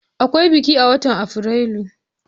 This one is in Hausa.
Akwai biki a watan Afrilu?